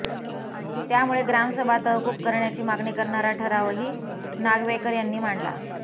त्यामुळे ग्रामसभा तहकूब करण्याची मागणी करणारा ठरावही नागवेकर यांनी मांडला